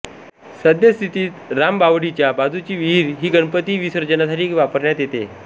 सध्यास्थितीत रामबावडीच्या बाजुची विहिर ही गणपती विसर्जनासाठी वापरण्यात येते